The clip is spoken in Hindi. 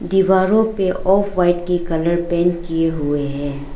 दीवारों पर ऑफव्हाइट की कलर पेंट किए हुए है।